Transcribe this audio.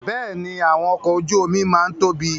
Bẹ́ẹ̀ni, àwọn ọkọ ojú omi máa ń tóbi